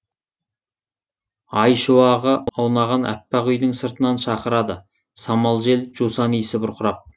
ай шуағы аунаған әппақ үйдің сыртынан шақырады самал жел жусан исі бұрқырап